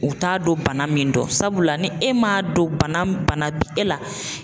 U t'a don bana min dɔn sabula ni e m'a dɔn bana bi e la